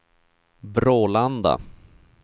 Brålanda